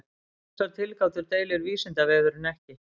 Um þessar tilgátur deilir Vísindavefurinn ekki.